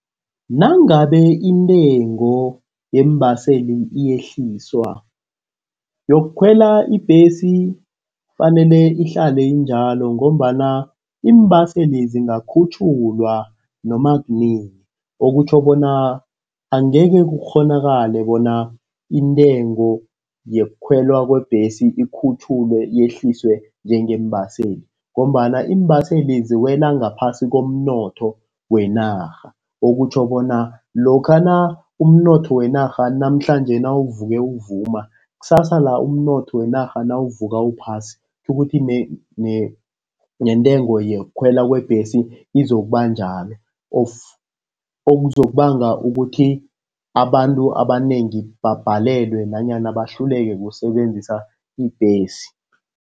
Nangabe intengo yeembaseli iyehliswa, yokukhwela ibhesi kufanele ihlale injalo ngombana iimbaseli zingakhutjhulwa noma kunini, okutjho bona angeke kukghonakale bona intengo yokukhwelwa kwebhesi ikhutjhulwe, yehliswe njengembaseli, ngombana iimbaseli ziwela ngaphasi komnotho wenarha. Okutjho bona lokhana umnotho wenarha namhlanje nawuvuke uvuma, kusasa la umnotho wenarha nawuvuka uphasi, kutjhukuthi nentengo yokukhwela kwebhesi izokuba njalo. Okuzokubanga ukuthi abantu abanengi babhalelwe nanyana bahluleke kusebenzisa ibhesi.